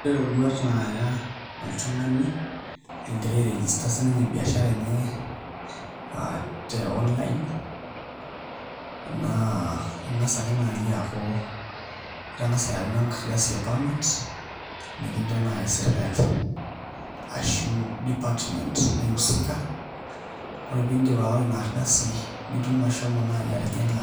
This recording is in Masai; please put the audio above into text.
Ore iroruat naaya oltung'ani egira airegister sininye biashara enye te online naa ing'as ake naai aaku itang'asa ayau enkardasi e permit nikincho naai sirkali ashu department naiusika ore piidid aawa ina ardasi niidim naai ashomo atijing'a